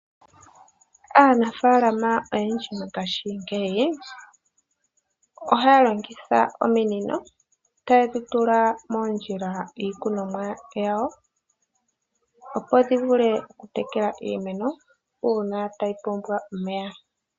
Aanafaalama oyendji mongashingeyi ohaya longitha ominino taye dhi tula moondjila dhiikunomwa yawo, opo dhi vule okutekela iimeno, uuna tayi pumbwa omeya.